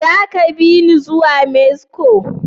Zaka biyune i zuwa Mexico?